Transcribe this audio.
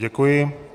Děkuji.